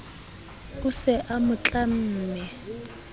a se a mo tlamme